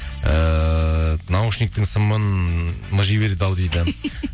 ііі наушниктің сымын мыжи берді ау дейді